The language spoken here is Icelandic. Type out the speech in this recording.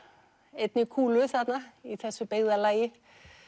einni kúlu þarna í þessu byggðarlagi